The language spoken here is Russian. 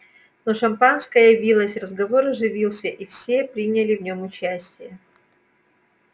но шампанское явилось разговор оживился и все приняли в нём участие